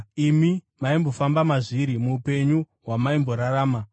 Imi maimbofamba mazviri, muupenyu hwamaimborarama.